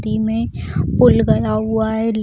नदी में पुल गरा हुआ है उम्म --